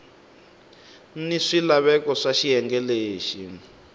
ni swilaveko swa xiyenge lexi